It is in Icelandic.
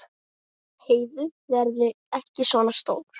Heiðu verði ekki svona stór.